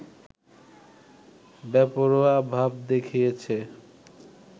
বেপরোয়া ভাব দেখিয়েছে